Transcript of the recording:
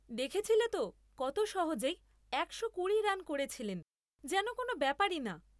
দেখেছিলে তো কত সহজেই একশোকুড়ি রান করেছিলেন যেন কোনও ব্যাপারই না।